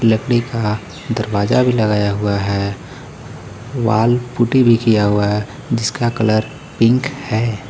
लकड़ी का दरवाजा भी लगाया हुआ है वॉल पुट्टी भी किया हुआ है जिसका कलर पिंक है.